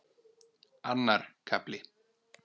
Annar kafli